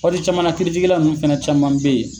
Ɔ ni jamana kiritigɛla nunnu fɛnɛ caman be yen